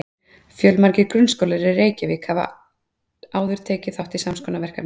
fjölmargir grunnskólar í reykjavík hafa áður tekið þátt í sams konar verkefni